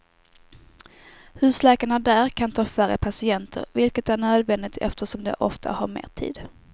Husläkarna där kan ta färre patienter, vilket är nödvändigt eftersom de ofta tar mer tid.